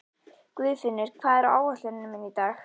Guðfinnur, hvað er á áætluninni minni í dag?